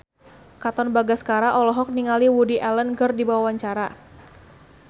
Katon Bagaskara olohok ningali Woody Allen keur diwawancara